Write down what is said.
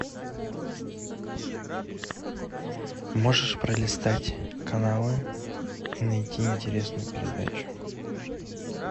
можешь пролистать каналы и найти интересную передачу